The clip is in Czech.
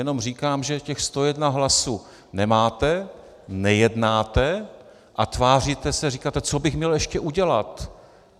Jenom říkám, že těch 101 hlasů nemáte, nejednáte a tváříte se, říkáte - co bych měl ještě udělat?